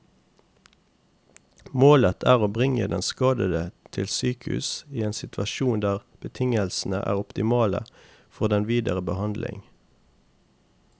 Målet er å bringe den skadede til sykehus i en situasjon der betingelsene er optimale for den videre behandling.